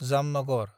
Jamnagar